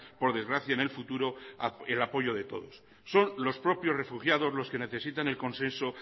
por desgracia en el futuro el apoyo de todos son los propios refugiados los que necesitan el consenso